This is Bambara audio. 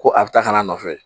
Ko a bɛ taa ka n'a nɔfɛ